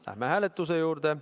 Läheme hääletuse juurde.